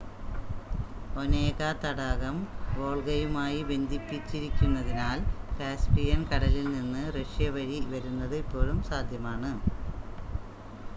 Onega തടാകം വോൾഗയുമായി ബന്ധിപ്പിച്ചിരിക്കുന്നതിനാൽ കാസ്‌പിയൻ കടലിൽ നിന്ന് റഷ്യ വഴി വരുന്നത് ഇപ്പോഴും സാധ്യമാണ്